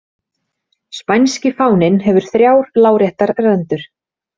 Spænski fáninn hefur þrjár láréttar rendur.